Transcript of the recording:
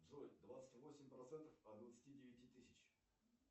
джой двадцать восемь процентов от двадцати девяти тысяч